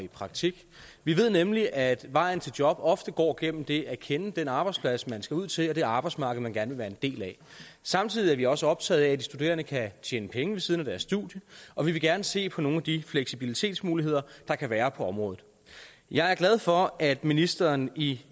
i praktik vi ved nemlig at vejen til job ofte går gennem det at kende den arbejdsplads man skal ud til og det arbejdsmarked man gerne vil være en del af samtidig er vi også optaget af at de studerende kan tjene penge ved siden af deres studie og vi vil gerne se på nogle af de fleksibilitetsmuligheder der kan være på området jeg er glad for at ministeren i